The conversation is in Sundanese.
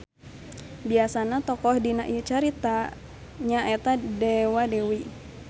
Biasana tokoh dina ieu carita nya eta dewa-dewi.